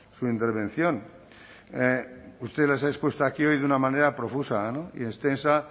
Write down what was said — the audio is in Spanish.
su intervención usted las ha expuesto aquí hoy de una manera profusa y extensa